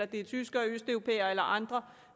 det er tyskere eller østeuropæere eller andre